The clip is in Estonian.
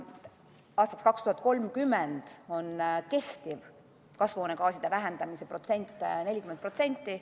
Aastaks 2030 on kehtestatud vähendada kasvuhoonegaase 40%.